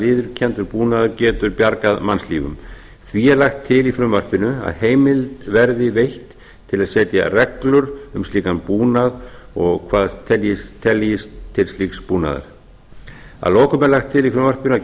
viðurkenndur búnaður getur bjargað mannslífum því er lagt til í frumvarpinu að heimild verði veitt til að setja felur um slíkan búnað og hverjir teljist til slíks búnaðar að lokum er lagt til í frumvarpinu